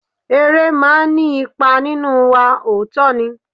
Eré máa ní ipa nínú wa, òótọ́ ni.